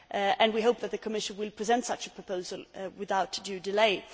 and we hope that the Commission will present such a proposal without undue delay.